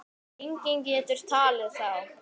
Enginn getur talið þá.